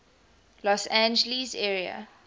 los angeles area